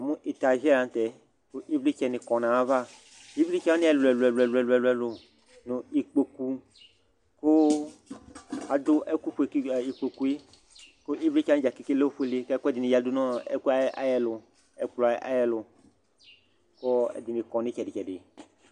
Namʋ etazɩɛ la nʋ tɛ kʋ ɩvlɩtsɛnɩ kɔ nʋ ayava Ɩvlɩtsɛ wanɩ ɛlʋ-ɛlʋ nʋ ikpoku kʋ adʋ ɛkʋfue ka ikpoku yɛ kʋ ɩvlɩtsɛ wanɩ dza keke lɛ ofuele kʋ ɛkʋɛdɩnɩ yǝdu nʋ ɔ ɛkʋ yɛ ayɛlʋ ɛkplɔ yɛ ayɛlʋ kʋ ɛdɩnɩ kɔ nʋ ɩtsɛdɩ-tsɛdɩ